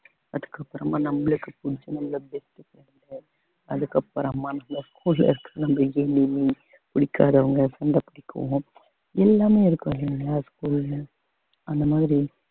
அதுக்கு அப்புறமா நம்மளுக்கு best friend உ அதுக்கு அப்புறமா அந்த school ல இருக்கிற புடிக்காதவங்க சண்டை பிடிக்கவுங்க எல்லாமே இருக்கும் இல்லைங்களா school ல அந்த மாதிரி